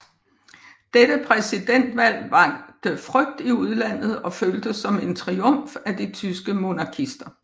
Dette præsidentvalg vakte frygt i udlandet og føltes som en triumf af de tyske monarkister